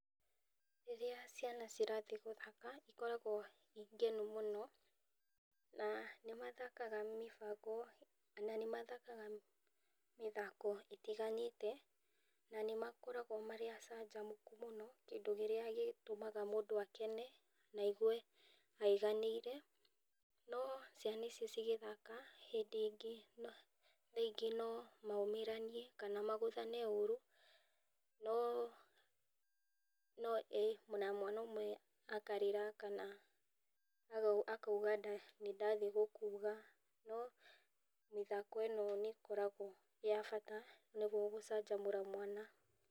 Rĩrĩa ciana cirathiĩ gũthaka cikoragwo ciĩ ngenu mũno na nĩmathakaga mĩthako na nĩmathakaga mĩthako ĩtiganĩte na nĩ nĩmakoragwo marĩ acanjamũku mũno kĩndũ kĩrĩa gĩtũmaga mũndũ akene na aigue aiganĩire, no ciana ici cigĩthaka hĩndĩ ĩngĩ no maumĩraniee kana magũthane ũru no ona mwana ũmwe akarĩra kana akauga nĩ ndathiĩ gũkuga no mĩthako ĩno nĩ koragwo ĩrĩ ya bata nĩguo gũcanjamũra mwana.